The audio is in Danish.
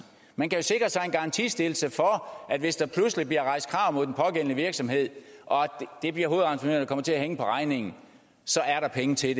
man kan jo sikre sig en garantistillelse for at hvis der pludselig bliver rejst krav mod den pågældende virksomhed og det bliver hovedentreprenøren der kommer til at hænge på regningen så er der penge til